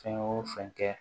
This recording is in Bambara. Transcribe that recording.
Fɛn o fɛn kɛ